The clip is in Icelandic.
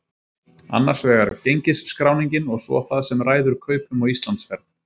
Annars vegar gengisskráningin og svo það sem ræður kaupum á Íslandsferð.